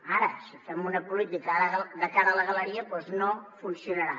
ara si fem una política de cara a la galeria doncs no funcionarà